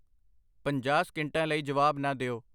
ਪੰਜਾਹ ਸਕਿੰਟਾਂ ਲਈ ਜਵਾਬ ਨਾ ਦਿਓ I